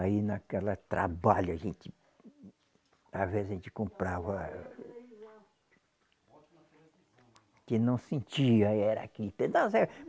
Aí naquela trabalho a gente, às vezes a gente comprava, que não sentia era aqui.